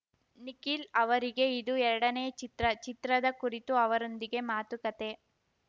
ನಿಖಿಲ್‌ ಅವರಿಗೆ ಇದು ಎರಡನೇ ಚಿತ್ರ ಚಿತ್ರದ ಕುರಿತು ಅವರೊಂದಿಗೆ ಮಾತುಕತೆ